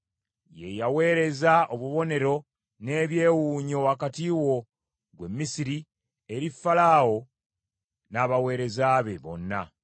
Ye yaweereza obubonero n’ebyewuunyo wakati wo, ggwe Misiri, eri Falaawo n’abaweereza be bonna.